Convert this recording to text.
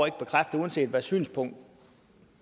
ikke bekræfte uanset hvad synspunkt